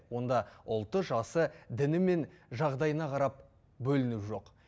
онда ұлты жасы діні мен жағдайына қарап бөліну жоқ